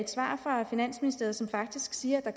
svar fra finansministeriet som faktisk siger at der